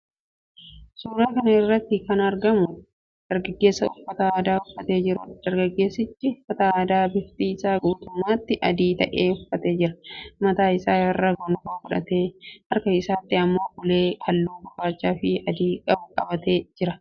Suuraa kana irratti kan argamu dargaggeessa uffata aadaa uffatee jiruudha. Dargaggeessichi uffata aadaa bifti isaa guutummaatti adii ta'e uffatee jira. Mataa isaa irra gonfoo godhatee, harka isaatti immoo ulee halluu gurraachaafi adii qabu qabatee jira.